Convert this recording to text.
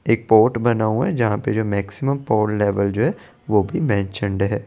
एक पोर्ट बना हुआ है जहा पे मिक्सिमम लेवल जो है है।